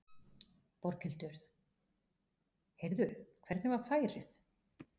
Berghildur: Heyrðu, hvernig var færið?